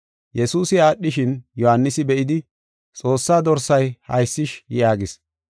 Yesuusi aadhishin, Yohaanisi be7idi, “Xoossaa dorsay haysish!” yaagis.